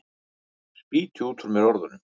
Spýti út úr mér orðunum.